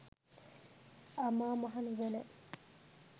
අමා මහ නිවන